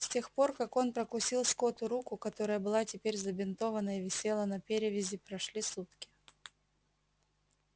с тех пор как он прокусил скотту руку которая была теперь забинтована и висела на перевязи прошли сутки